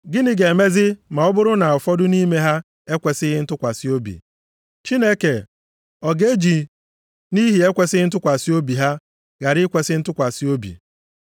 Gịnị ga-emezi ma ọ bụrụ na ụfọdụ nʼime ha ekwesighị ntụkwasị obi? Chineke, ọ ga-eji nʼihi ekwesighị ntụkwasị obi ha ghara ikwesi ntụkwasị obi?